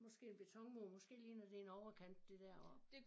Måske en betonmur måske ligner det en overkant det deroppe